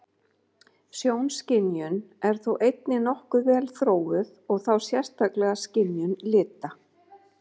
Sjónskynjun er þó einnig nokkuð vel þróuð og þá sérstaklega skynjun lita.